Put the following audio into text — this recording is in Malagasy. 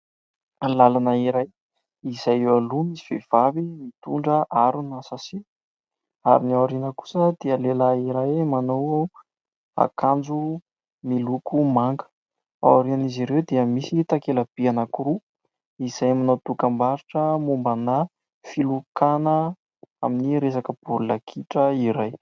Lalana iray izay eo aloha misy vehivavy mitondra harona"sachet" ; ary ny ao aoriana kosa dia lehilahy iray manao akanjo miloko manga. Ao aorian'izy ireo dia misy takela-by anankiroa izay manao dokam-barotra mombana filokana amin'ny resaka baolina kitra iray.